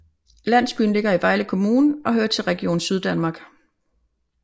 Landsbyen ligger i Vejle Kommune og hører til Region Syddanmark